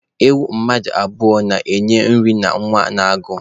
Ewu mmadụ abụọ na-enye nri na-anwụ n'agụụ